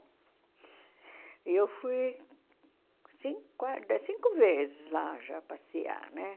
E eu fui cin qua cinco vezes lá já passear, né?